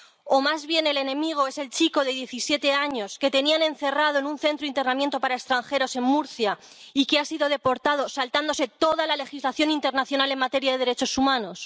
¿O más bien el enemigo es el chico de diecisiete años que tenían encerrado en un centro de internamiento para extranjeros en Murcia y que ha sido deportado saltándose toda la legislación internacional en materia de derechos humanos?